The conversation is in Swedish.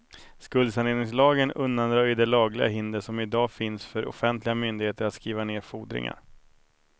Skuldsaneringslagen undanröjer de lagliga hinder som idag finns för offentliga myndigheter att skriva ned fordringar.